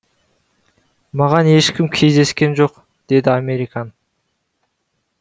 маған ешкім кездескен жоқ деді американ